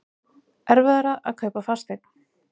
Erfiðara að kaupa fasteign